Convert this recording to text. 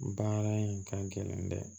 Baara in ka gɛlɛn dɛ